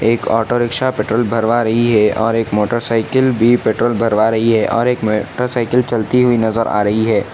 एक auto rickshaw petrol भरवा रही है और एक मोटरसाईकिल भी पेट्रोल भरवा रही है और एक मोटरसाईकिल चलती हुई नजर आ रही है।